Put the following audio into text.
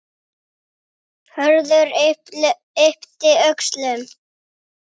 Það gengur eða gengur ekki.